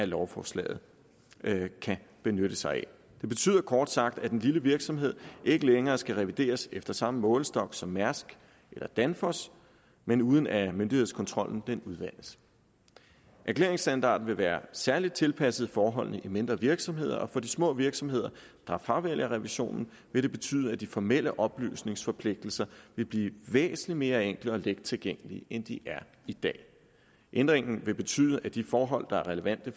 lovforslaget kan benytte sig af det betyder kort sagt at en lille virksomhed ikke længere skal revideres efter samme målestok som mærsk eller danfoss men uden at myndighedskontrollen udvandes erklæringsstandarden vil være særligt tilpasset forholdene i mindre virksomheder og for de små virksomheder der fravælger revisionen vil det betyde at de formelle oplysningsforpligtelser vil blive væsentlig mere enkle og let tilgængelige end de er i dag ændringen vil betyde at de forhold der er relevante